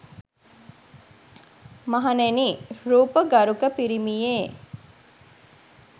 මහණෙනි, රූප ගරුක පිරිමියේ